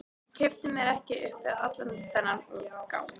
Kippti mér ekki upp við allan þennan umgang.